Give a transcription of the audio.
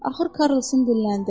Axır Karrlsın dilləndi.